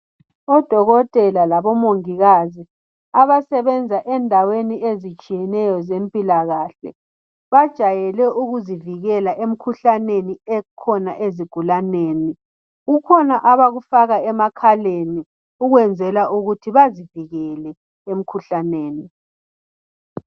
oDokotela labo Mongikazi abasebenza endaweni ezitshiyeneyo zempilakahle bajayele ukuzivikela emikhuhlaneni ekhona ezigulaneni. Kukhona abakufaka emakhaleni ukwenzela ukuthi bazivikele emikhuhlaneni